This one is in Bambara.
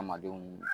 Adamadenw